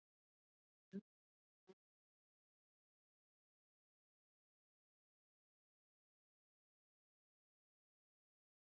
Hrund Þórsdóttir: Þið hafið sem sagt alveg mannskap í þetta aukna eftirlit?